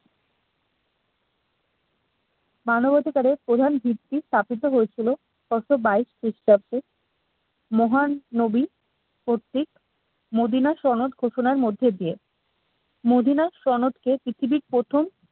মানবাধিকারের প্রধান ভিত্তি স্থাপিত হয়েছিল ছশো বাইশ খ্রিস্টাব্দে মহান নবী কর্তৃক নবিনা সনদ ঘোষণার মধ্যে দিয়ে নবীনা সনদ কে পৃথিবীর প্রথম